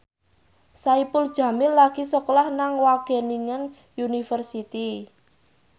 Saipul Jamil lagi sekolah nang Wageningen University